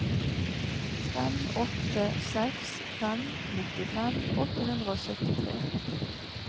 fem åtte seks fem nittifem åtte hundre og syttitre